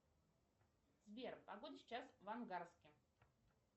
сбер погода сейчас в ангарске